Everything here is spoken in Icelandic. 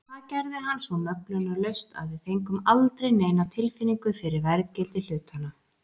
Og það gerði hann svo möglunarlaust að við fengum aldrei neina tilfinningu fyrir verðgildi hlutanna.